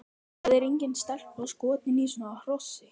Það er engin stelpa skotin í svona hrossi!